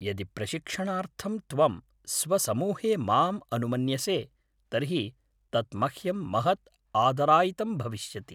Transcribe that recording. यदि प्रशिक्षणार्थं त्वं स्वसमूहे माम् अनुमन्यसे तर्हि तत् मह्यं महत् आदरायितं भविष्यति।